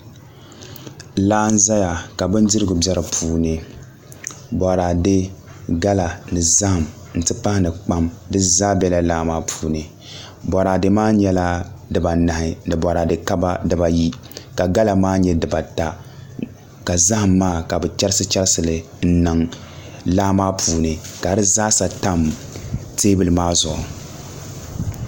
Laa n ʒɛya ka bindirigu bɛ di puuni boraadɛ gala ni zaham n ti pahi ni kpam di zaa bɛla laa maa puuni boraadɛ maa nyɛla dibaanahi ni boraadɛ kaba dibayi ka gala maa nyɛ dibata ka zaham maa ka bi chɛrisi chɛrisi li n niŋ laa maa puuni ka di zaaha tam teebuli maa zuɣu